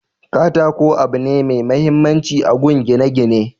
katako abu ne mai mahimmanci agun gine gine